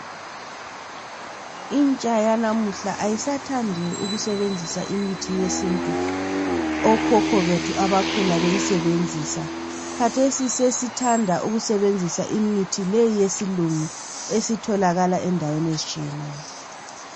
Intsha yalamuhla ayisathandi ukusebenzisa imithi yesintu okhokho bethu abakhula beyisebenzisa khathesi sesithanda ukusebenzisa imithi le eyesilungu esitholakala endaweni ezitshiyeneyo.